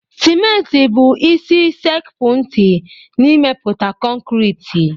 Simenti bụ isi sekpu ntị n'imeputa kọnkriiti.